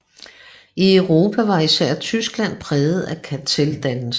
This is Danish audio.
I Europa var især Tyskland præget af karteldannelser